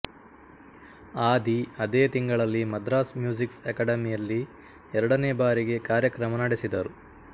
ಆಧಿ ಅದೆ ತಿಂಗಳಲ್ಲಿ ಮದ್ರಾಸ್ ಮ್ಯೂಜ್ಸಿಕ್ ಅಕಾಡೆಮಿಯಲ್ಲಿ ಎರಡನೆ ಬಾರಿಗೆ ಕಾರ್ಯಕ್ರಮ ನಡೆಸಿದರು